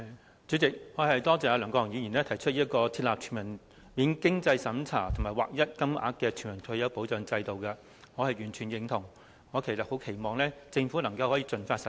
代理主席，多謝梁國雄議員提出設立全民免經濟審查及劃一金額的全民退休保障制度，我完全贊同這項建議，我期望政府可以盡快實施。